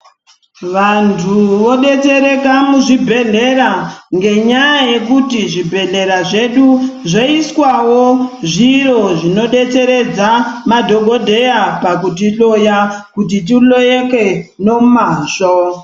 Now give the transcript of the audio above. Vantu vodetsereka muzvibhedhlera ngenyaya yekuti zvibhedhlera zvedu zvoiswawo zviro zvinodetseredza madhogodheya pakutihloya kuti tihloyeke nomazvo.